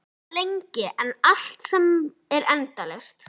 Hún var lengri en allt sem er endalaust.